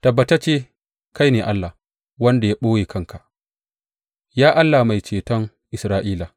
Tabbatacce kai ne Allah wanda ya ɓoye kanka, Ya Allah da Mai Ceton Isra’ila.